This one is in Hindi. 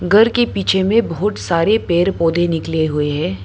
घर के पीछे में बहुत सारे पेड़ पौधे निकले हुए हैं।